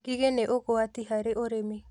Ngigĩ nĩ ũgwati harĩ ũrĩmi